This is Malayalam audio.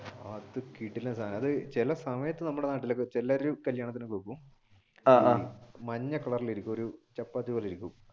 അത് കിടിലം സാധനമാണ് അത് ചില സമയത്തു നമ്മുടെ നാട്ടിൽ എല്ലാവരും കല്യാണത്തിന് വെക്കും മഞ്ഞ കളറിൽ ഒരു ചപ്പാത്തി പോലെ ഇരിക്കും.